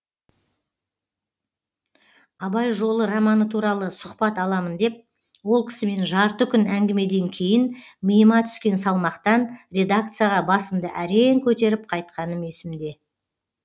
абай жолы романы туралы сұхбат аламын деп ол кісімен жарты күн әңгімеден кейін миыма түскен салмақтан редакцияға басымды әрең көтеріп қайтқаным есімде